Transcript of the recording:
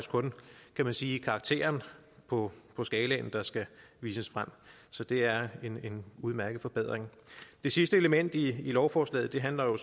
kan man sige karakteren på på skalaen der skal vises frem så det er en udmærket forbedring det sidste element i lovforslaget handler jo